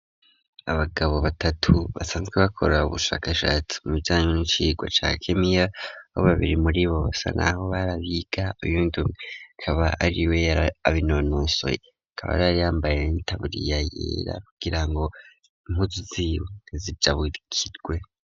Abagabo batatu basanzwe bakora ubushakashatsi mu bijanye n'icigwa ca kemia bo babiri muri bo basa naho barabiga iyundumwe kaba ari we abinonosoye kaba riyaryambaye n'itaburiya yera kugira ngo impuzu ntizijabukirwe.